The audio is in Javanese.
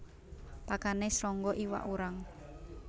Pakane srangga iwak urang